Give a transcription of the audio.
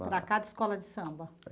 Para cada escola de samba?